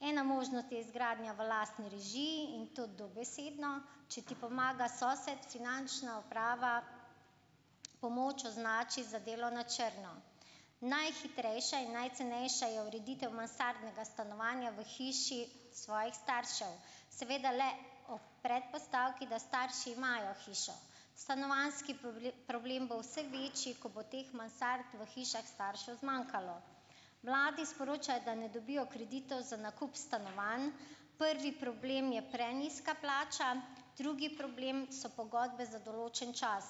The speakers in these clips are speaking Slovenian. Ena možnost je izgradnja v lastni režiji in to dobesedno, če ti pomaga sosed, finančna uprava pomoč označi za delo na črno. Najhitrejša in najcenejša je ureditev mansardnega stanovanja v hiši svojih staršev, seveda le ob predpostavki, da starši imajo hišo. Stanovanjski problem bo vse večji, ko bo teh mansard v hišah staršev zmanjkalo. Mladi sporočajo, da ne dobijo kreditov za nakup stanovanj, prvi problem je prenizka plača, drugi problem so pogodbe za določen čas.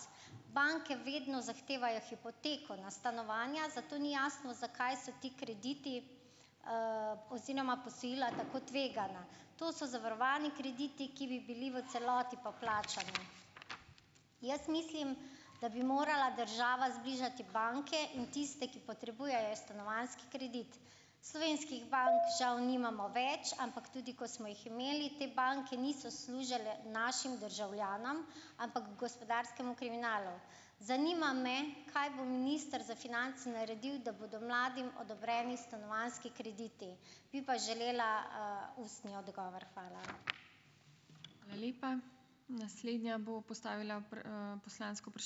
Banke vedno zahtevajo hipoteko na stanovanja, zato ni jasno zakaj so ti krediti, oziroma posojila tako tvegana. To so zavarovani krediti, ki bi bili v celoti poplačani. Jaz mislim, da bi morala država zbližati banke in tiste, ki potrebujejo stanovanjski kredit. Slovenskih bank žal nimamo več, ampak tudi ko smo jih imeli, te banke niso služile našim državljanom, ampak gospodarskemu kriminalu. Zanima me: Kaj bo minister za finance naredil, da bodo mladim odobreni stanovanjski krediti? Bi pa želela, ustni odgovor. Hvala.